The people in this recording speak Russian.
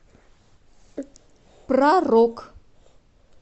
про рок